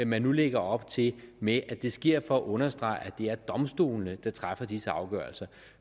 man nu lægger op til med at det sker for at understrege at det er domstolene der træffer disse afgørelser